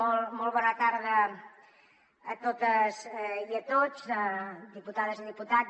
molt bona tarda a totes i a tots diputades i diputats